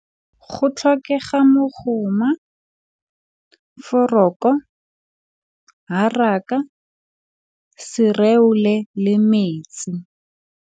Go tlhokega mokgoma, foroko, haraka, sereole le metsi.